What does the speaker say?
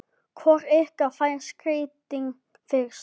Hvor ykkar fær skeytin fyrst?